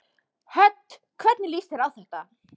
Hödd: Hvernig líst þér á þetta?